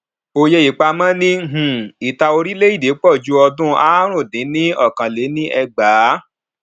òye ipamo ni um ìta orileede pòju odun àrún dín ní okanléníẹgbàá